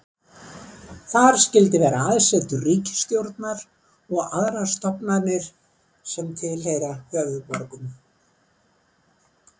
Þar skyldi vera aðsetur ríkisstjórnar og aðrar stofnanir sem tilheyra höfuðborgum.